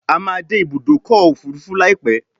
A má dé Ibùdókọ̀ òfurufú laipe